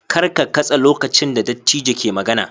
Kar ka katse lokacin da dattijo ke magana